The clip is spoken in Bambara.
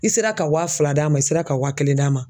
I sera ka wa fila d'a ma i sera ka wa kelen d'a ma